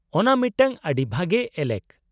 -ᱚᱱᱟ ᱢᱤᱫᱴᱟᱝ ᱟᱹᱰᱤ ᱵᱷᱟᱜᱮ ᱮᱞᱮᱠ!